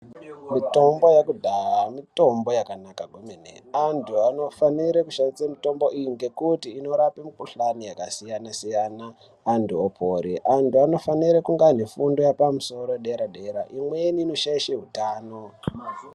Mitombo yekudhaya mitombo yakanaka kwemene, antu anofanire kushandise mitombo iyi ngekuti inorape mikhuhlani yakasiyana siyana antu opore. Antu anofanire kunge aine fundo yepamusoro yedera dera imweni inoshaishe hutano.